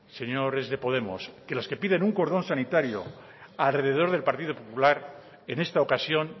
señores de podemos que los que piden un cordón sanitario alrededor del partido popular en esta ocasión